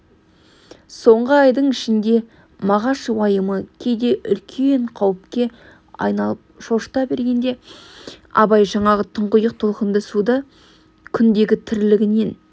соңғы айдың ішінде мағаш уайымы кейде үлкен қауіпке айналып шошыта бергенде абай жаңағы тұңғиық толқынды суды күндегі тірлігінен